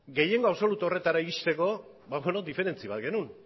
gehiengo absolutu horretara iristeko diferentzi bat genuen